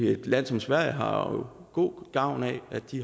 i et land som sverige har god gavn af at de